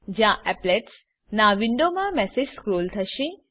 જ્યાં appletsના વિન્ડોમા મેસેજ સ્ક્રોલ થશે